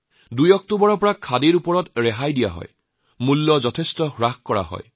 ২ অক্টোবৰত খাদীজাত সামগ্ৰীৰ ৰেহাই দিয়া হয় যথেষ্ট ৰেহাই পোৱা যায়